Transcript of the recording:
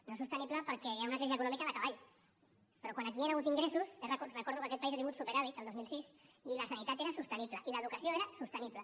no és sostenible perquè hi ha una crisi econòmica de cavall però quan aquí hi han hagut ingressos recordo que aquest país ha tingut superàvit el dos mil sis i la sanitat era sostenible i l’educació era sostenible